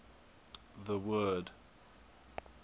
the word